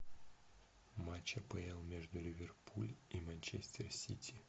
матч апл между ливерпуль и манчестер сити